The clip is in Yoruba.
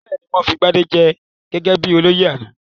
Bẹ́ẹ̀ ni, wọ́n fi Gbadé jẹ gẹ́gẹ́ bí olóyè lánàá.